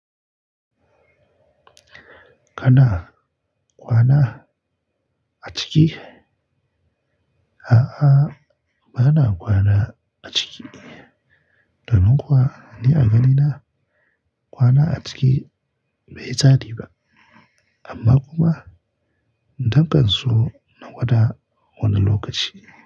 Kana kwana a ciki? A'a, ba na kwana a ciki. Dadan kuwa ni a gani na kwana a ciki bai tsari ba. Amma kuma, nakan so na gwada wani lokaci.